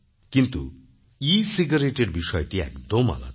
কিন্তু ecigaretteর বিষয়টি একদম আলাদা